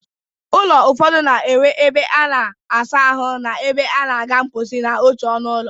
Ụlọ ụfọdụ na-enwe ebe a na-asa ahụ na ebe a na-aga mkposi n'otu ọnụ ụlọ